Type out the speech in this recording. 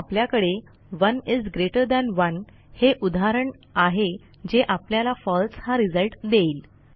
आता आपल्याकडे 1 is greater than 1 हे उदाहरण आहे जे आपल्याला फळसे हा रिझल्ट देईल